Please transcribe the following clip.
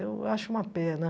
Eu acho uma pena.